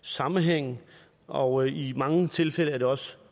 sammenhæng og i mange tilfælde er det også